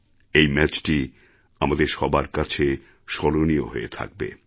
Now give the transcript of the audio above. এই ম্যাচটি আমাদের সবার কাছে স্মরণীয় হয়ে থাকবে